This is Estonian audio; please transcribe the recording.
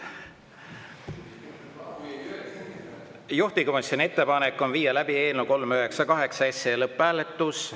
Juhtivkomisjoni ettepanek on viia läbi eelnõu 398 lõpphääletus.